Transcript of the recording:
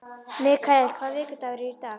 Mikael, hvaða vikudagur er í dag?